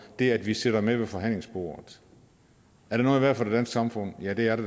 det at vi sidder med ved forhandlingsbordet er det noget værd for det danske samfund ja det er det